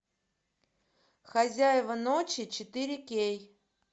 хозяева ночи четыре кей